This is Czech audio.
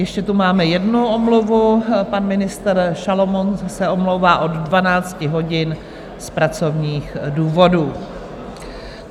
Ještě tu máme jednu omluvu, pan ministr Šalomoun se omlouvá od 12 hodin z pracovních důvodů.